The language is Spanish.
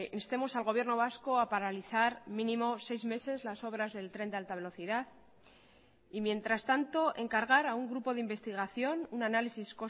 instemos al gobierno vasco a paralizar mínimo seis meses las obras del tren de alta velocidad y mientras tanto encargar a un grupo de investigación un análisis